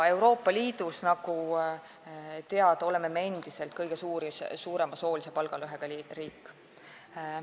Euroopa Liidus, nagu teada, oleme me endiselt kõige suurema soolise palgalõhega riik.